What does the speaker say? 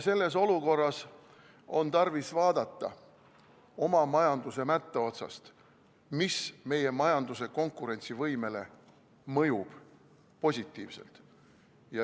Selles olukorras on tarvis vaadata oma majanduse mätta otsast, mis meie majanduse konkurentsivõimele mõjub positiivselt.